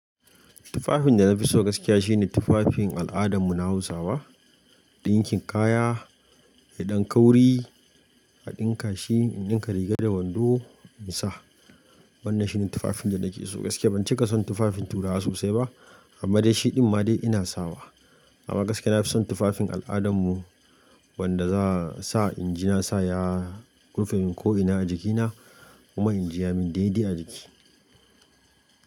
Tufafin da na fi so gaskiya shine tufafin al'adar mu na Hausawa. Dinkin kaya, idan ka wuri a ɗinka shi in ɗinka riga da wando in sa. Wannan shine tufafin da nake so gaske. Ban cika son tufafin turawa sosai ba amma dai shi ɗin ma dai ina sawa. Amma gaskiya na fi son tufafin al'adar mu wanda za sa inji na sa ya rufe min ko ina a jikina kuma inji ya min daidai a jiki.